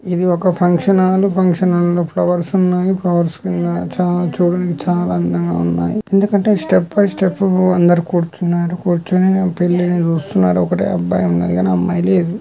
ఇది ఒక function hall function hall లో ఫ్లవర్స్ ఉన్నాయి ఫ్లవర్స్ కింద చ-చూడడానికి చాలా అందంగా ఉన్నాయి ఎందుకంటే స్టెప్ బై స్టెప్ అందరూ కూర్చున్నారు కూర్చొని పెళ్లిని చూస్తున్నారు ఒకటే అబ్బాయి ఉన్నాడు కానీ అమ్మాయి లేదు.